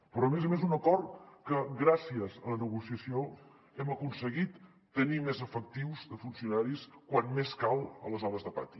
però a més a més un acord amb què gràcies a la negociació hem aconseguit tenir més efectius de funcionaris quan més cal a les hores de pati